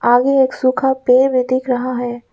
आगे एक सूखा पेड़ दिख रहा है।